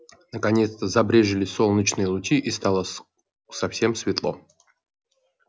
наконец-то забрезжили солнечные лучи и скоро стало совсем светло